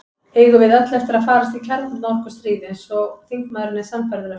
Eigum við öll eftir að farast í kjarnorkustríði, eins og þingmaðurinn er sannfærður um?